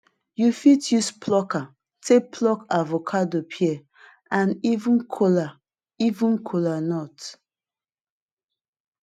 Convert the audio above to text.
you fit use plucker take pluk avocado pear and even kola even kola nut